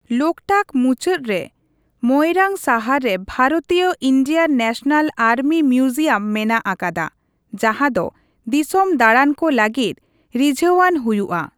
ᱞᱳᱠᱴᱟᱠ ᱢᱩᱪᱟᱹᱫ ᱨᱮ ᱢᱚᱭᱨᱟᱝ ᱥᱟᱦᱟᱨ ᱨᱮ ᱵᱷᱟᱨᱚᱛᱤᱭᱚ ᱤᱱᱰᱤᱭᱟᱱ ᱱᱮᱥᱱᱟᱞ ᱟᱨᱢᱤ ᱢᱤᱣᱡᱤᱭᱟᱢ ᱢᱮᱱᱟᱜ ᱟᱠᱟᱫᱟ, ᱡᱟᱦᱟᱸ ᱫᱚ ᱫᱤᱥᱚᱢ ᱫᱟᱲᱟᱱ ᱠᱚ ᱞᱟᱹᱜᱤᱫ ᱨᱤᱡᱷᱟᱹᱣᱟᱱ ᱦᱩᱭᱩᱜᱼᱟ ᱾